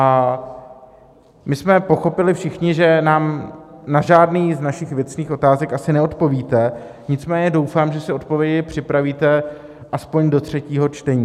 A my jsme pochopili všichni, že nám na žádnou z našich věcných otázek asi neodpovíte, nicméně doufám, že si odpovědi připravíte aspoň do třetího čtení.